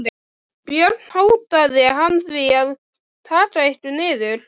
Við eina höllina er bíllaust við tvöfaldan skúrinn.